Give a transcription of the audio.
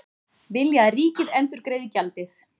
Vilja að ríkið endurgreiði gjaldið